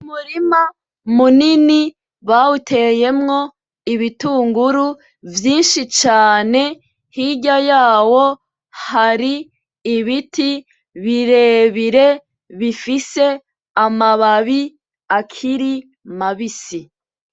Umurima munini bawuteyemwo ibitunguru vyinshi cane ,hirya yawo hari ibiti birebire bifise amababi akiri mabisi.